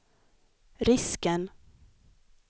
risken